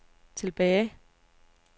tilbage